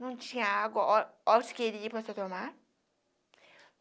Não tinha água, ora ora que você queria para você tomar.